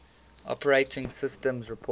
operating systems report